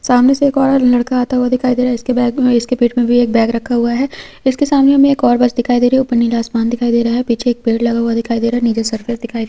सामने से एक औरत लड़का आता हुआ दिखाई दे रहा है इसके बैग में इसके पेट में भी एक बैग रखा हुआ है उसके सामने मे एक और बस दिखाई दे रही है ऊपर नीला आसमान दिखाई दे रहा है पीछे एक पेड़ लगा हुआ दिखाई दे रहा है नीचे सर्कल दिखाई--